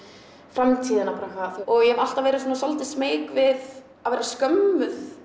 framtíðina og ég hef alltaf verið svolítið smeyk við að vera skömmuð